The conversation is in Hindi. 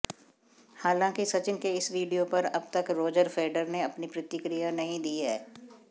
हालांकि सचिन के इस वीडियो पर अबतक रोजर फेडर ने अपनी प्रतिक्रिया नहीं दी है